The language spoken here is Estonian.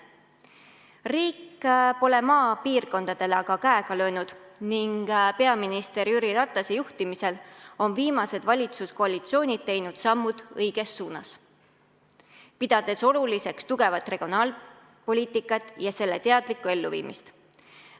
Riik pole maapiirkondadele aga käega löönud ning peaminister Jüri Ratase juhtimisel on viimased valitsuskoalitsioonid teinud sammud õiges suunas, pidades oluliseks tugevat regionaalpoliitikat ja selle teadlikku elluviimist.